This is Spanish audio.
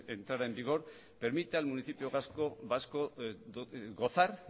entrara en vigor permite al municipio vasco gozar